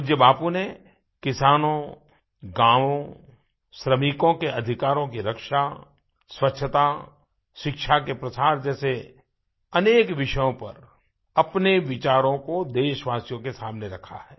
पूज्य बापू ने किसानों गाँवों श्रमिकों के अधिकारों की रक्षा स्वच्छता शिक्षा के प्रसार जैसे अनेक विषयों पर अपने विचारों को देशवासियों के सामने रखा है